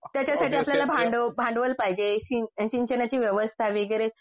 त्याच्यासाठी आपल्याला भांडवल पाहिजे. सिंचनाची वेवस्था वगैरे